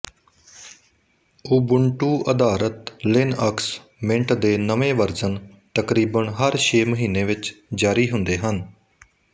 ਉਬੁੰਟੂਅਧਾਰਤ Linux Mint ਦੇ ਨਵੇਂ version ਤਕਰੀਬਨ ਹਰ ਛੇ ਮਹੀਨੇ ਵਿੱਚ ਜਾਰੀ ਹੁੰਦੇ ਹਨ